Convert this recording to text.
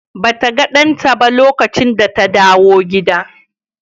Ba ta ga ɗanta ba lokacin da ta dawo gida.